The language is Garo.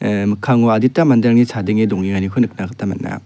ah mikkango adita manderangni chadenge dongengako nikna gita man·a.